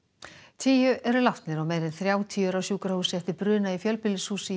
tíu eru látnir og meira en þrjátíu eru á sjúkrahúsi eftir bruna í fjölbýlishúsi í